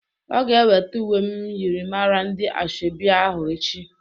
Ọ ga-ewete uwe myịrịmara ndị asoebi ahụ echi.